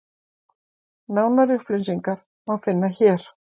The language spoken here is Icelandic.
Nánari upplýsingar má finna hér.